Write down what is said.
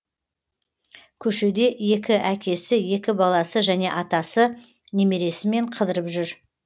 көшеде екі әкесі екі баласы және атасы немересімен қыдырып жүр